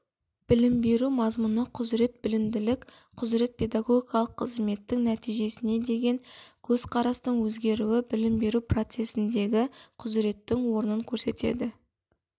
білім беру мазмұны құзырет білімділік құзырет педагогикалық қызметтің нәтижесіне деген көзқарастың өзгеруі білім беру процесіндегі құзыреттің орнын көрсетеді